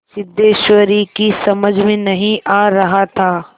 सिद्धेश्वरी की समझ में नहीं आ रहा था